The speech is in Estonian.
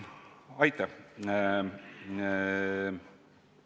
Aitäh!